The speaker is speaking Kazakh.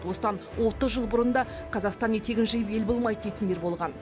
осыдан отыз жыл бұрын да қазақстан етегін жиып ел болмайды дейтіндер болған